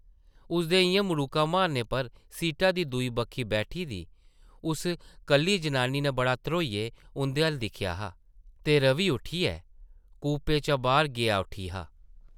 उसदे इʼयां मड़ूका मारने पर सीटा दी दूई बक्खी बैठी दी उस कल्ली जनानी नै बड़ा ध्रोइयै उंʼदे अʼल्ल दिक्खेआ हा ते रवि उट्ठियै कूपे चा बाह्र गेआ उठी हा।